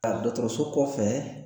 Aa dɔgɔtɔrɔso kɔfɛ